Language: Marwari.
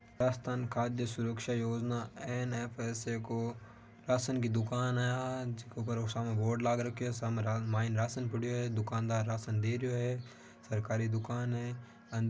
राजस्थान खाद्य सुरक्षा योजना एनएफ सा को राशन की दुकान है ऊपर सामने बोर्ड लगा रखे हैं मन राशन पड़े हुए हैंदुकानदार राशन दे रहे हो है सरकारी दुकान है।